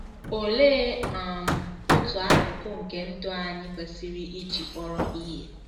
Olee um otu akụkụ nke ndụ anyị kwesịrị iji kpọrọ ihe?